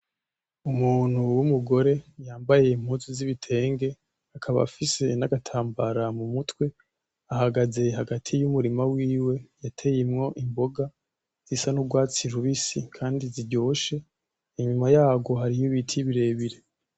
Umuntu w'umugore yambaye impuzu z'ibitenge akaba afise n'agatambara mu mutwe ahagaze hagati y'umurima wiwe yateyemwo imboga zisa n'urwatsi rubisi kandi ziryoshe. Inyuma y'arwo hariho ibiti birebire.